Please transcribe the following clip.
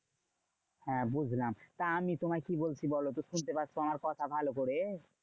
হ্যাঁ বুঝলাম। তা আমি তোমায় কি বলছি বলতো? শুনতে পাচ্ছো আমার কথা ভালো করে?